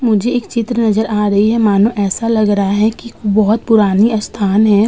मुझे एक चित्र नजर आ रही है मानो ऐसा लग रहा है कि बोहोत पुराना ईस्थान है।